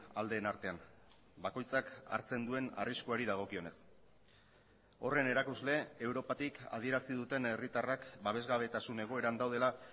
aldeen artean bakoitzak hartzen duen arriskuari dagokionez horren erakusle europatik adierazi duten herritarrak babesgabetasun egoeran daudela